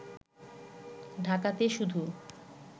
ঢাকাতে শুধু